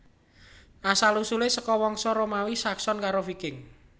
Asal usulé saka wangsa Romawi Saxon karo Viking